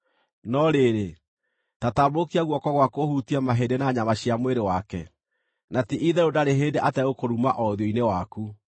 No rĩrĩ, ta tambũrũkia guoko gwaku ũhutie mahĩndĩ na nyama cia mwĩrĩ wake, na ti-itherũ ndarĩ hĩndĩ ategũkũruma o ũthiũ-inĩ waku.”